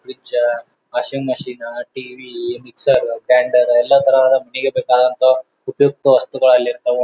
Fridge washing machine TV mixer grinder ಎಲ್ಲ ತರಹದ ಮನಿಗೆ ಬೇಕಾದಂತ ಉಪಯುಕ್ತ ವಸ್ತುಗಳು ಎಲ್ಲಿ ಇರ್ತವ.